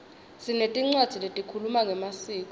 sinetincwadzi lehkhuluma ngemaskco